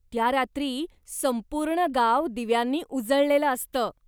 त्या रात्री संपूर्ण गाव दिव्यांनी उजळलेलं असतं.